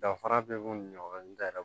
Danfara bɛ u ni ɲɔgɔn cɛ